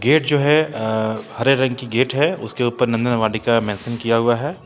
Gate जो है अ हरे रंग की गेट है उसके ऊपर नंदन वाटिका मेंशन किया हुआ है।